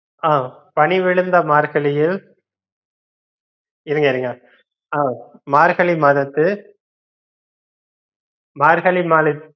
ஆஹ் பனிவிழுந்த மார்கழியில் இருங்க, இருங்க அஹ் மார்கழி மாதத்து மார்கழி மாத